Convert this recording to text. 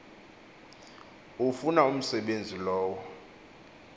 ufuna umsebenzi lowo